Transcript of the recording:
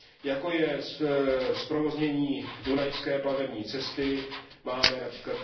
jako je zprovoznění dunajské plavební cesty, máme např.